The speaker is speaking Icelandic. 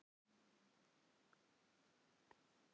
Þarna eru Kjarval, Svavar, Nína og allir hinir.